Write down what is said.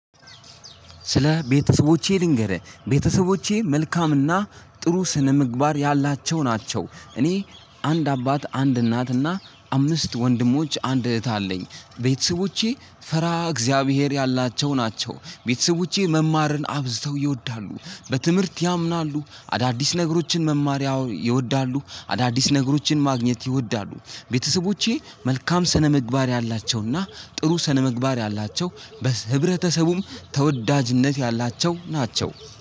ስለ ቤተሰቦቼ ልንገርህ ቤተሰቦቼ መልካምና ጥሩ ስነምግባር ያላቸው ናቸው። እኔ አንድ አባት አንድ እናትና አምስት ወንድሞች አንድ እህት አለኝ። ቤተሰቦቼ ፈርሃ እግዚአብሔር ያላቸው ናቸው። ቤተሰቦቼ መማርን አብዝተው ይወዳሉ በትምህርት ያምናሉ። አዳዲስ ነገሮችን መማሪያ ይወዳሉ አዳዲስ ነገሮችን ማግኘት ይወዳሉ። ቤተሰቦቼ መልካም ስነምግባር ያላቸውና ጥሩ ስነምግባር ያላቸው በህብረተሰቡም ተወዳጅነት ያላቸው ናቸው